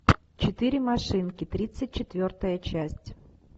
четыре машинки тридцать четвертая часть